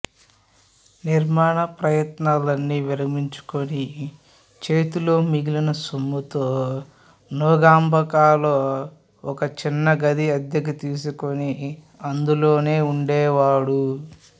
నిర్మాణ ప్రయత్నాలన్నీ విరమించుకుని చేతిలో మిగిలిన సొమ్ముతో నుంగంబాకంలో ఒక చిన్న గది అద్దెకు తీసుకుని అందులోనే ఉండేవాడు